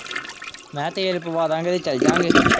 ਮੈਂ ਕਿਹਾ ਤੇਲ ਪਵਾਂ ਦਿਆਂਗੇ ਤੇ ਚੱਲ ਜਾ ਗੇ।